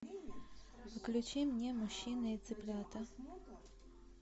включи мне мужчины и цыплята